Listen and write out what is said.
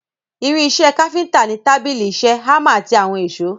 Irin ìṣe káfíntà ni tábìlì ìṣe, hámà àti àwọn èsó.